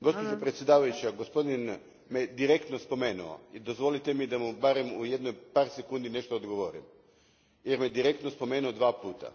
Gospođo predsjedavajuća, gospodin me direktno spomenuo i dozvolite mi da mu barem u par sekundi nešto odgovorim, jer me direktno spomenuo dva puta.